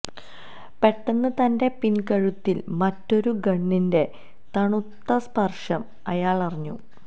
പെട്ടെന്ന് തന്റെ പിൻകഴുത്തിൽ മറ്റൊരു ഗണ്ണിന്റെ തണുത്ത സ്പർശം അയാൾ അറിഞ്ഞു